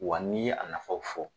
Wa n'i ye a nafaw fɔ